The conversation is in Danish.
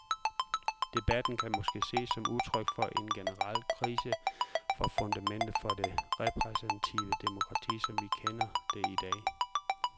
Debatten kan måske ses som udtryk for en generel krise for fundamentet for det repræsentative demokrati, som vi kender det i dag.